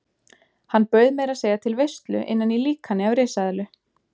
Hann bauð meira að segja til veislu innan í líkani af risaeðlu.